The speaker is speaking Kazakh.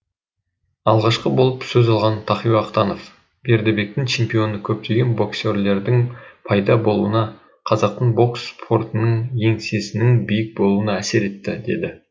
алғашқы болып сөз алған тахауи ахтанов бердібектің чемпионы көптеген боксерлердің пайда болуына қазақтың бокс спортынан еңсесінің биік болуына әсер етті деді